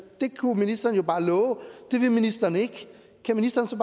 det kunne ministeren jo bare love det vil ministeren ikke kan ministeren så